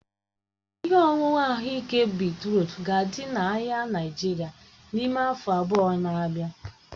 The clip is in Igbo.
Ihe ọṅụṅụ ahụike beetrut ga-adị n'ahịa Naịjirịa n'ime afọ abụọ na-abịa.